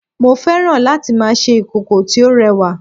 mo fẹ́ràn láti ma ṣe ìkòkò tí ó rẹwa